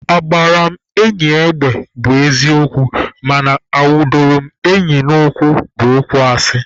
Agbara m enyi egbe bụ eziokwu mana anwudoro m enyi n'ụkwụ bụ okwu asị